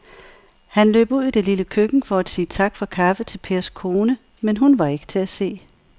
Han løb ud i det lille køkken for at sige tak for kaffe til Pers kone, men hun var ikke til at se.